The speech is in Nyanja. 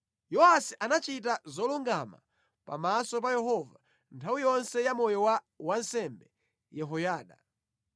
Yowasi anachita zolungama pamaso pa Yehova nthawi yonse ya moyo wa wansembe Yehoyada.